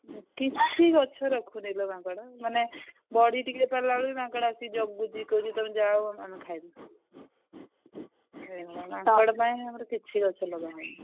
କିଛି ଗଛ ରଖୁନି ଲୋ ମାଙ୍କଡ ମାନେ ବଢି ଟିକେ ପାରିଲା ବେଳକୁ ବି ମାଙ୍କଡ ଆସିକି ଜଗୁଛି କହୁଛି ତମେ ଯାଅ ଆମେ ଖାଇବୁ ଏଇ ମାଙ୍କଡ ପାଇଁ ଆମର କିଛି ଗଛ ଲଗାହଉନି।